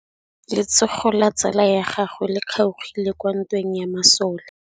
Letsôgô la tsala ya gagwe le kgaogile kwa ntweng ya masole.